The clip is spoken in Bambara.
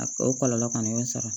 A o kɔlɔlɔ kɔni y'o sɔrɔ